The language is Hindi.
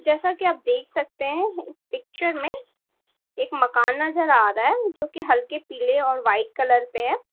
जैसा की आप देख सकते हैं पिक्चर में एक मकान नजर आ रहा है जो की हल्के पीले और वाइट कलर पे है।